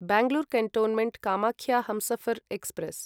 Bangalore cantonment Kamakhya Humsafar express